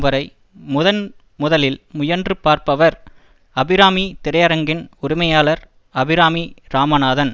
வரை முதன் முதலில் முயன்று பார்ப்பவர் அபிராமி திரையரங்கின் உரிமையாளர் அபிராமி ராமநாதன்